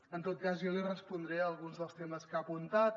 en tot cas jo li respondré a alguns dels temes que ha apuntat